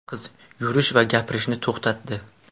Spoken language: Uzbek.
Qiz yurish va gapirishni to‘xtatdi.